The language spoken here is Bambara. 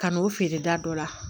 Ka n'o feere da dɔ la